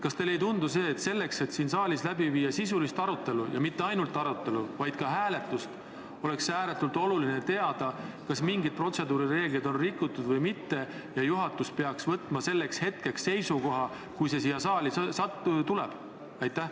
Kas teile ei tundu, et selleks, et viia siin saalis läbi sisuline arutelu – ja mitte ainult arutelu, vaid ka hääletus –, on ääretult oluline teada, kas mingeid protseduurireegleid on rikutud või mitte, ja et juhatus peaks selleks hetkeks, kui eelnõu siia saali jõuab, olema seisukoha võtnud?